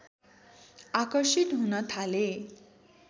आकर्षित हुन थाले